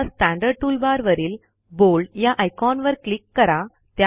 आता स्टँडर्ड टूलबारवरील बोल्ड या आयकॉनवर क्लिक करा